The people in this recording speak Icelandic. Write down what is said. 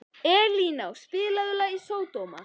Elíná, spilaðu lagið „Sódóma“.